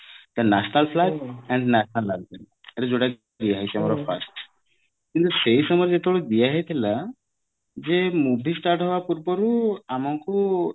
the national flag and national ଯୋଉଟା କି କିନ୍ତୁ ସେଇ ସମୟରେ ଯେତେବେଳେ ଦିଅ ହେଇଥିଲା ଯେ movie start ପୂର୍ବରୁ ଆମକୁ